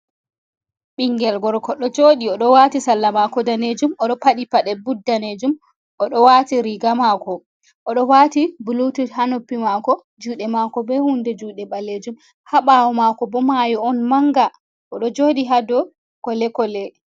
Ɓingel gorko ɗo joɗi oɗo wati salla mako danejum oɗo paɗi paɗe bud danejum, oɗo wati riga mako oɗo wati blutit ha noppi mako juɗe mako be hunde juɗe ɓalejum ha ɓawo mako bo mayo on manga oɗo joɗi ha dou kole kole.